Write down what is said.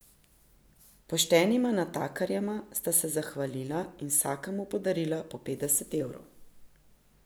Poštenima natakarjema sta se zahvalila in vsakemu podarila po petdeset evrov.